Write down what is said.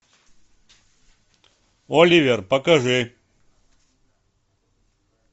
оливер покажи